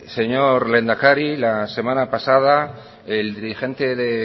señor lehendakari la semana pasada el dirigente de